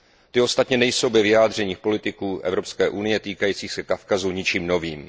Ty ostatně nejsou ve vyjádřeních politiků Evropské unie týkajících se Kavkazu ničím novým.